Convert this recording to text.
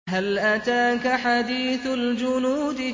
هَلْ أَتَاكَ حَدِيثُ الْجُنُودِ